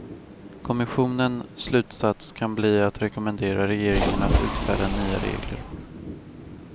Kommissionen slutsats kan bli att rekommendera regeringen att utfärda nya regler.